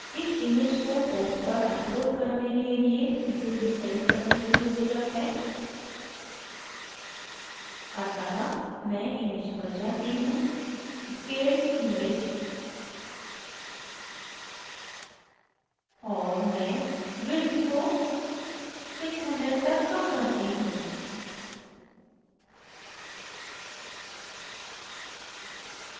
इस image को web पर अपलोड करने के लिए इसे रीसाइज करने की ज़रुरत है अतः मैं image पर जाती हूँ scale image और मैं width को 600 तक कम करती हूँ